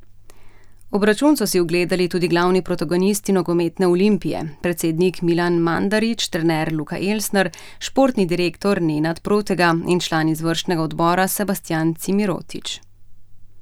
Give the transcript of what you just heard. Obračun so si ogledali tudi glavni protagonisti nogometne Olimpije, predsednik Milan Mandarić, trener Luka Elsner, športni direktor Nenad Protega in član izvršnega odbora Sebastjan Cimirotić.